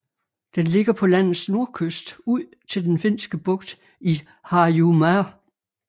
Den ligger på landets nordkyst ud til Den Finske Bugt i Harjumaa